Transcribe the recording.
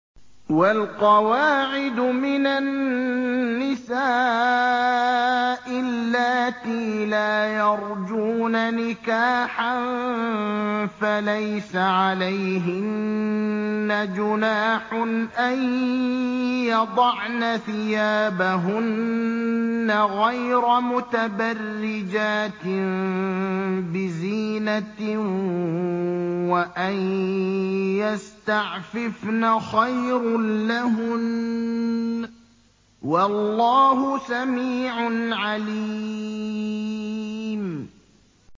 وَالْقَوَاعِدُ مِنَ النِّسَاءِ اللَّاتِي لَا يَرْجُونَ نِكَاحًا فَلَيْسَ عَلَيْهِنَّ جُنَاحٌ أَن يَضَعْنَ ثِيَابَهُنَّ غَيْرَ مُتَبَرِّجَاتٍ بِزِينَةٍ ۖ وَأَن يَسْتَعْفِفْنَ خَيْرٌ لَّهُنَّ ۗ وَاللَّهُ سَمِيعٌ عَلِيمٌ